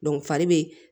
fari be